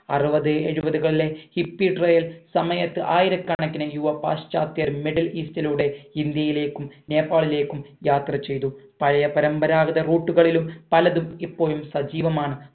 അറുപത് എഴുപത് കളിലെ hippie trail സമയത് ആയിരകണക്കിന് യുവപശ്ചാത്യർ middle east ലൂടെ ഇന്ത്യലേക്കും നേപ്പാളിലേക്കും യാത്ര ചെയ്തു പഴയ പരമ്പരാഗത root കളിലും പലതും ഇപ്പോഴും സജീവമാണ്